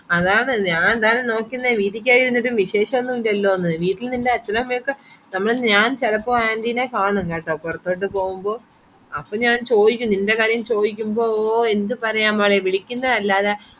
അതാണ് ഞാൻ അതാന്നുനോക്കിനിന്നെ വീട്ടിൽകേറിയിരുന്നിട്ടും വിശേഷം ഒന്നുമില്ലലോ എന്ന് വീട്ടിൽ നിന്റെ അച്ഛനും അമ്മയൊക്കെ ഞാൻ ചിലപ്പോ anuty നെ കാണും കേട്ടോ പുറത്തോട്ടുപോവുമ്പോ അപ്പോ ഞാൻ ചോയിക്കും നിന്റെ കാര്യം ചോയ്ക്കുമ്പോ എന്തുപറയാൻ മോളെ വിളികുനില്ലാതെ